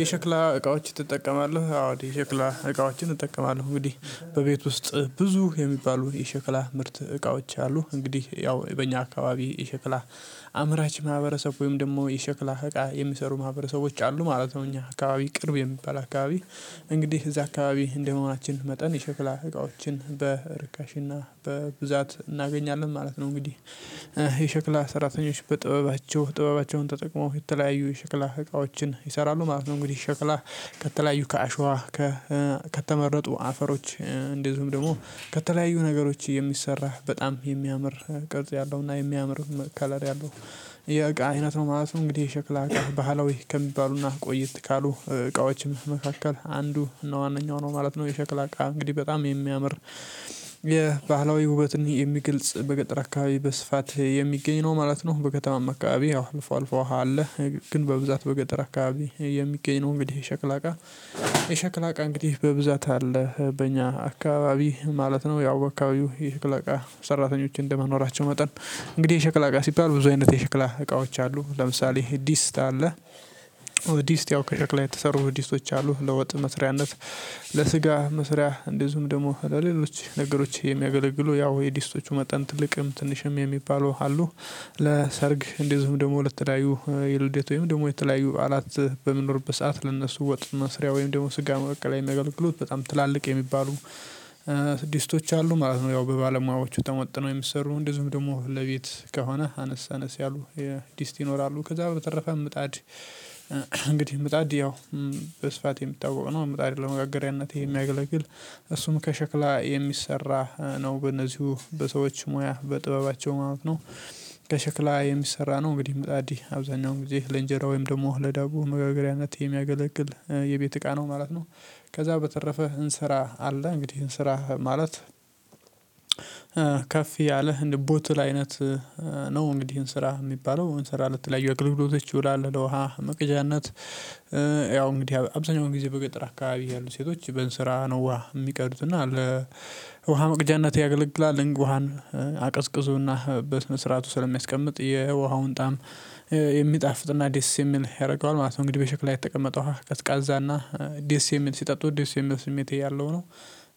የሸክላ እቃዎች ትጠቀማለህ? አዎ የሸክላ እቃዎችን እጠቀማለሁ እንግዲህ በቤት ውስጥ ብዙ የሚባሉ የሸክላ ምርት እቃዎች አሉ እንግዲህ ያው በእኛ አካባቢ የሸክላ ማህበረሰብ ወይም ደግሞ የሸክላ እቃ የሚሰሩ ማህበረሰቦች አሉ ማለት ነው እኛ አካባቢ ቅርብ የሚባል አካባቢ እንግዲህ እዛ አካባቢ እንደመሆናችን መጠን የሸክላ እቃዎችን በርካሽ እና በብዛት እናገኛለን ማለት ነው እንግዲህ የሸክላ ሰራተኞች በጥበባቸው ጥበባቸውን ተጠቅመው የተለያዩ የሸክላ እቃዎችን ይሰራሉ ማለት ነው። እንግዲህ ሸክላ ከተለያዩ ከአሸዋ ከተመረጡ አፈሮች እንደዚሁም ደግሞ ከተለያዩ ነገሮች የሚሰራ በጣም የሚያምር ቅርጽ ያለው እና የሚያምር ከለር ያለው የእቃ አይነት ነው ማለት ነው። እንግዲህ የሸክላ እቃ ባህላዊ ከሚባሉና ቆይት ካሉ እቃዎችም መካከል አንዱ እነዋነኛው ነው። ማለት ነው የሸክላ እቃ እንግዲህ በጣም የሚያምር የባህላዊ ውበትን የሚግልጽ በገጠር አካባቢ በስፋት የሚገኝ ነው ማለት ነው። በከተማም አካባቢ ያው አልፎ አልፎ አለ። ግን በብዛት በገጠር አካባቢ የሚገኝ ነው እንግዲህ የሸክላ እቃ። የሸክላ እቃ እንግዲህ በብዛት አለ በእኛ አካባቢ ማለት ነው። ያው በአካባቢው የሽክላ እቃ ሰራተኞችን እንደመኖራቸው መጠን እንግዲህ የሽክላ እቃ ሲባል ብዙዎች የሽክላ እቃዎች አሉ። ለምሳሌ ድስት አለ ድስት ያው ከሽክላ የተሰሩ ድስቶች አሉ ለወጥ መስሪያነት ለስጋ መስሪያ እንደዚሁም ደግሞ ለሌሎች ነገሮች የሚያገለግሉ ያው የዲስቶቹ መጠን ትልቅም ትንሽም የሚባሉ አሉ። ለሰርግ እንደዚሁም ደግሞ ለተለያዩ የልዴት ወይም ደግሞ የተለያዩ በዓላት በሚንኖርበት ለእነሱ ወጥ መስሪያ ወይም ደግሞ ስጋ መቀቀያ አገልግሎት በጣም ትላልቅ የሚባሉ ድስቶች አሉ ማለት ነው። ያው በባለሙያዎቹ ተመጥነው የሚሰሩ እንደዚሁም ደግሞ ለቤት ከሆነ አነሳነስ ያሉ የዲስት ይኖራሉ። ከዛ በተረፈ ምጣድ እንግዲህ ምጣድ ያው በስፋት የሚታውቅ ነው። ምጣድ ለመጋገሪያነት የሚያገለግል እሱም ከሸክላ የሚሰራ ነው በእነዚሁ በሰዎች ሙያ በጥበባቸው ማለት ነው። ከሸክላ የሚሰራ ነው እንግዲህ ምጣድ አብዛኛው ጊዜ ለእንጀራ ወይም ደግሞ ለዳቦ መጋገሪያነት የሚያገለግል የቤት እቃ ነው ማለት ነው። ከዛ በተረፈ እንስራ አለ እንግዲህ እንስራ ማለት ከፍ ያለ እንደቦትል አይነት ነው። እንግዲህ እንስራ የሚባለው እንሰራ ለተለያዮ አገልግሎቶች ይውላል። ለውሃ መቅጃነት ያው እንግዲህ አብዛኛው ጊዜ በገጠር አካባቢ ያሉ ሴቶች በንስራ ነው ውሃ የሚቀዱት እና ለውሃ መቅጃነት ያገለግላል ውሃን አቀዝቅዞና በስነ ስርዓቱ ስለሚያስቀምጥ የውሃውን ጣዕም የሚጣፍጥና ደስ የሚል ያደርገዋል ማለት ነው። እንግዲህ በሽክላ የተቀመጠ ቀዝቃዛ እና ሲጠጡት ደስ የሚል ስሜት ያለው ነው።